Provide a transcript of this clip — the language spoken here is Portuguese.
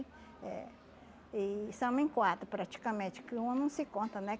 eh e somos em quatro praticamente, porque uma não se conta, né?